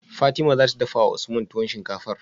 Fatima zata dafawa usman tuwon shinkafar?